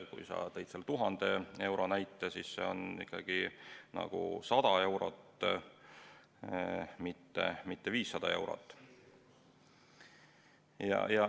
Kui sa tõid 1000 euro näite, siis on ikkagi 100 eurot, mitte 500 eurot.